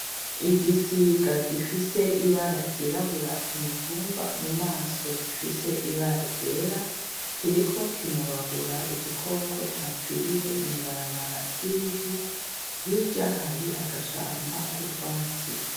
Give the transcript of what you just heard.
Igisiga gifise ibara ryirabura kumutumba mumaso gifise ibara ryera , kiriko kinobagura igikoko capfiriye mwibarabara ryivu , hirya hari agashamba kutwatsi .